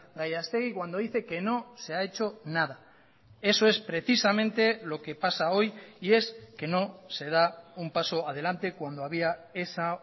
gallastegui cuando dice que no se ha hecho nada eso es precisamente lo que pasa hoy y es que no se da un paso adelante cuando había esa